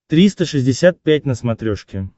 триста шестьдесят пять на смотрешке